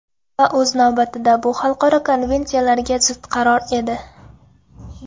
Va o‘z navbatida bu xalqaro konvensiyalarga zid qaror edi.